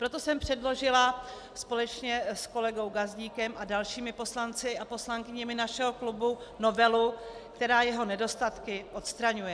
Proto jsem předložila společně s kolegou Gazdíkem a dalšími poslanci a poslankyněmi našeho klubu novelu, která jeho nedostatky odstraňuje.